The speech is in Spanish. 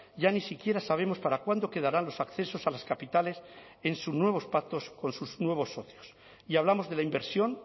ya ni siquiera sabemos para cuándo quedarán los accesos a las capitales en sus nuevos pactos con sus nuevos socios y hablamos de la inversión